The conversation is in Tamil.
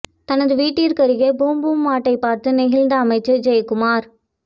தனது வீட்டருகே பூம் பூம் மாட்டை பார்த்து நெகிழ்ந்த அமைச்சர் ஜெயக்குமார்